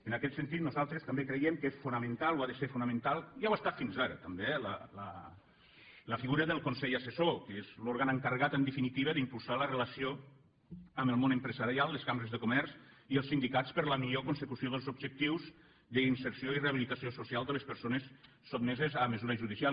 en aquest sentit nosaltres també creiem que és fonamental o ha de ser fonamental ja ho ha estat fins ara també eh la figura del consell assessor que és l’òrgan encarregat en definitiva d’impulsar la relació amb el món empresarial les cambres de comerç i els sindicats per a la millor consecució dels objectius d’inserció i rehabilitació social de les persones sotmeses a mesura judicial